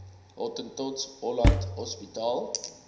hottentots holland hospitaal